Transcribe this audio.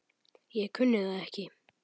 Ég kunni það ekki.